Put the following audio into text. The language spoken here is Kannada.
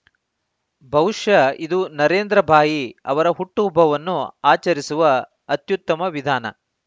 ಬಹುಶಃ ಇದು ನರೇಂದ್ರ ಭಾಯಿ ಅವರ ಹುಟ್ಟುಹಬ್ಬವನ್ನು ಆಚರಿಸುವ ಅತ್ಯುತ್ತಮ ವಿಧಾನ